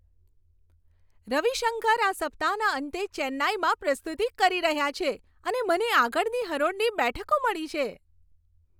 રવિશંકર આ સપ્તાહના અંતે ચેન્નાઈમાં પ્રસ્તુતિ કરી રહ્યા છે અને મને આગળની હરોળની બેઠકો મળી છે!